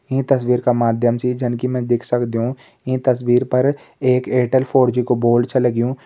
ईं तस्वीर का माध्यम से जन की मैं देख सक्दु ईं तस्वीर पर एक एयरटेल फोर जी को बोर्ड छ लग्युं।